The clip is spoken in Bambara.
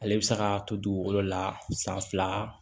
Ale bɛ se ka to dugukolo la san fila